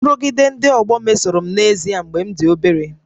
Nrụgide ndị ọgbọ mesoro m n'ezie mgbe m dị obere